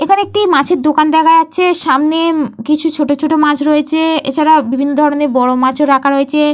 এইখানে একটি মাছের দোকান দেখা যাচ্ছে। সামনে উম কিছু ছোট ছোট মাছ রয়েছে। এছাড়া বিভিন্ন ধরণের বড় মাছ ও রাখা রয়েছে।